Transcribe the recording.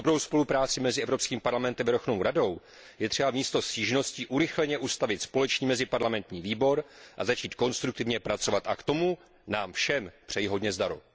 Pro dobrou spolupráci mezi Evropským parlamentem a Verchovnou radou je třeba místo stížností urychleně ustavit společný meziparlamentní výbor a začít konstruktivně pracovat. A k tomu nám všem přeji hodně zdaru.